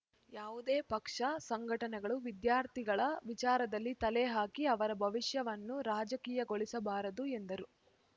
ಯಾವುದೇ ಪಕ್ಷ ಸಂಘಟನೆಗಳು ವಿದ್ಯಾರ್ಥಿಗಳ ವಿಚಾರದಲ್ಲಿ ತಲೆ ಹಾಕಿ ಅವರ ಭವಿಷ್ಯವನ್ನು ರಾಜಕೀಯಗೊಳಿಸಬಾರದು ಎಂದರು